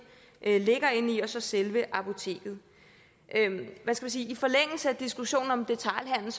ligger inde i og så selve apoteket i forlængelse af diskussionen om detailhandel